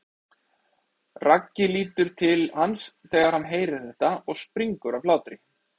Raggi lítur til hans þegar hann heyrir þetta og springur af hlátri.